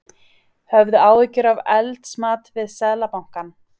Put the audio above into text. Höfðu áhyggjur af eldsmat við Seðlabankann